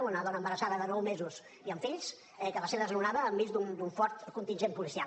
una dona embarassada de nou mesos i amb fills que va ser desnonada enmig d’un fort contingent policial